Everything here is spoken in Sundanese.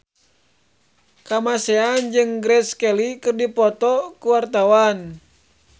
Kamasean jeung Grace Kelly keur dipoto ku wartawan